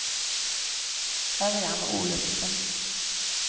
Ørjan Olufsen